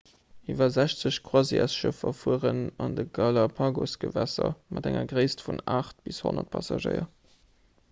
iwwer 60 croisièresschëffer fueren an de galapagos-gewässer mat enger gréisst vun 8 bis 100 passagéier